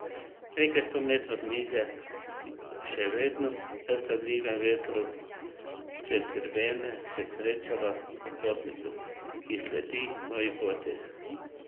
Nekaj sto metrov niže, še vedno v neustavljivem vetru čez grebene, se srečava s popotnikom, ki sledi moji poti.